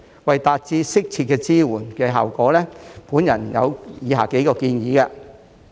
為達致適切的支援效果，我有以下數項建議。